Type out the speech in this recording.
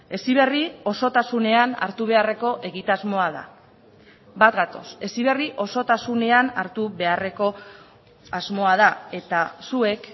heziberri osotasunean hartu beharreko egitasmoa da bat gatoz heziberri osotasunean hartu beharreko asmoa da eta zuek